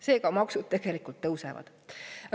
Seega maksud tegelikult tõusevad.